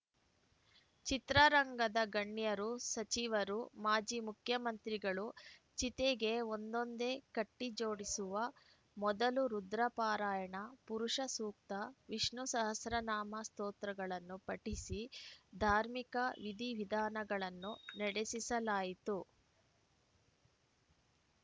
ಚಿತ್ರರಂಗದ ಗಣ್ಯರು ಸಚಿವರು ಮಾಜಿ ಮುಖ್ಯಮಂತ್ರಿಗಳು ಚಿತೆಗೆ ಒಂದೊಂದೇ ಕಟ್ಟಿಜೋಡಿಸುವ ಮೊದಲು ರುದ್ರ ಪಾರಾಯಣ ಪುರುಷ ಸೂಕ್ತ ವಿಷ್ಣು ಸಹಸ್ರನಾಮ ಸೊತ್ರೕತ್ರಗಳನ್ನು ಪಠಿಸಿ ಧಾರ್ಮಿಕ ವಿಧಿ ವಿಧಾನಗಳನ್ನು ನಡೆಸಿಸಲಾಯಿತು